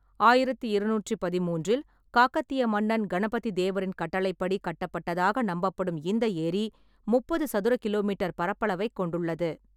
ஆயிரத்தி இருநூற்றி பதிமூன்றில் காக்கத்திய மன்னர் கணபதிதேவரின் கட்டளைப்படி கட்டப்பட்டதாக நம்பப்படும் இந்த ஏரி, முப்பது சதுர கிலோமீட்டர் பரப்பளவைக் கொண்டுள்ளது.